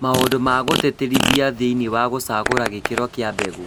Maũndũ ma gũtĩtĩrithia thĩinĩ wa gũcagũra gĩkĩro kĩa mbegũ